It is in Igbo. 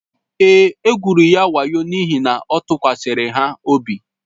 Èé, e gwụrụ ya wayo n’ihi na ọ tụkwasịrị ha obi.